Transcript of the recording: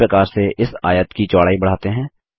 इसी प्रकार से इस आयत की चौड़ाई बढ़ाते हैं